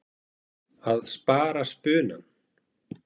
Að spara spunann.